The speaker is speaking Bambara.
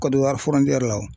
Kɔdiwari la o